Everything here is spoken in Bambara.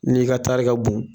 N'i ka tari ka bon